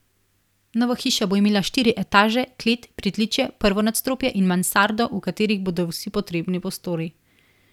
Nova hiša bo imela štiri etaže, klet, pritličje, prvo nadstropje in mansardo, v katerih bodo vsi potrebni prostori.